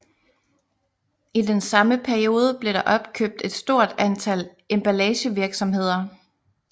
I den samme periode blev der opkøbt et stort antal emballagevirksomheder